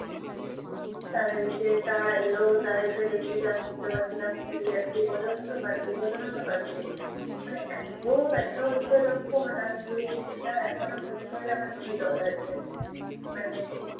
তাদেরকে তারা এলো। তারা এসে দেখলো যে আমি উঠতে পারছিলাম না প্রচণ্ড কাঁদছি, প্রচণ্ড কাঁদছি, মানে এতো ব্যাথা হচ্ছে তখন মানে আমি পুরো জিনিসটা এখনও মনে করলে আমার চোখে জল আসে। মানে